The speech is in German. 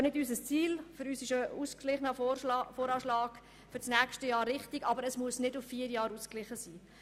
Unser Ziel ist ein ausgeglichener VA für das nächste Jahr, aber dieser muss nicht auf vier Jahre hin ausgeglichen sein.